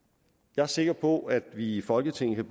jeg er sikker på at vi i folketinget